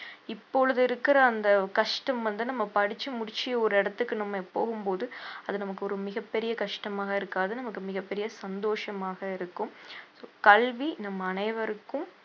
இப்பொழுது இருக்கிற அந்த கஷ்டம் வந்து நம்ம படிச்சு முடிச்சு ஒரு இடத்துக்கு நம்ம போகும் போது அது நமக்கு ஒரு மிகப்பெரிய கஷ்டமாக இருக்காது நமக்கு மிகப்பெரிய சந்தோஷமாக இருக்கும் கல்வி நம் அனைவருக்கும்